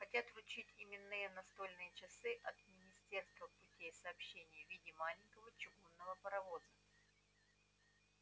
хотят вручить именные настольные часы от министерства путей сообщения в виде маленького чугунного паровоза